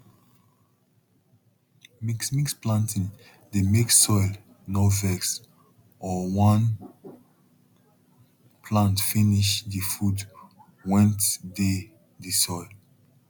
mixmix planting dey make soil nor vex or one plant finish the food went dey the soil